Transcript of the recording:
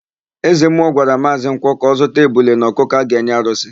Ezemmụọ gwara Maazị Nkwọ ka ọ zụta ebule na ọkụkọ a ga-enye arụsị.